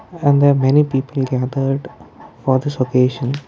and there are many people gathered for this occasion.